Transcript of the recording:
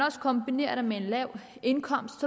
kombinerer det med en lav indkomst